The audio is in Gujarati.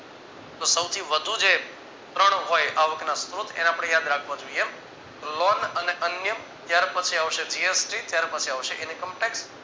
તો સૌથી વધુ જે પ્રણ હોય આવકના સ્ત્રોત એને આપણે યાદ રાખવા જોઈએ લોન અને અન્ય ત્યાર પછી આવશે gst ત્યાર પછી આવશે income tax